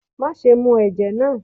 ma sẹ mù ẹjẹ náá!